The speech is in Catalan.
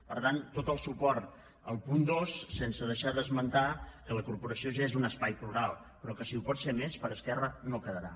per tant tot el suport al punt dos sense deixar d’esmentar que la corporació ja és un espai plural però que si ho pot ser més per esquerra no quedarà